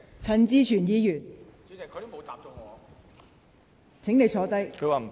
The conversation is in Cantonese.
陳志全議員，請發言。